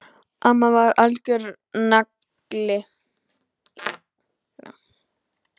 Amma var algjör nagli!